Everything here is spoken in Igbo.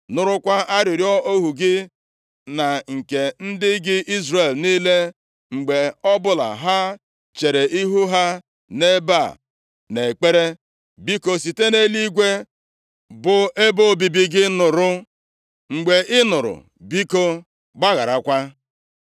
Nụrụkwa arịrịọ ohu gị na nke ndị gị Izrel niile, mgbe ọbụla ha chere ihu ha nʼebe a nʼekpere. Biko, site nʼeluigwe bụ ebe obibi gị nụrụ, mgbe ị nụrụ biko, gbagharakwa.